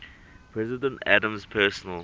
president adams's personal